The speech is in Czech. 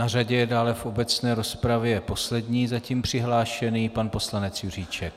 Na řadě je dále v obecné rozpravě poslední zatím přihlášený pan poslanec Juříček.